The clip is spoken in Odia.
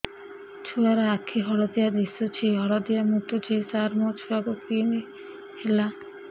ଛୁଆ ର ଆଖି ହଳଦିଆ ଦିଶୁଛି ହଳଦିଆ ମୁତୁଛି ସାର ମୋ ଛୁଆକୁ କି ହେଲା